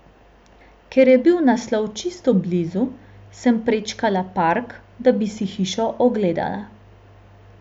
Ker je bil naslov čisto blizu, sem prečkala park, da bi si hišo ogledala.